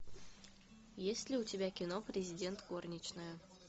есть ли у тебя кино президент горничная